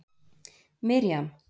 Miriam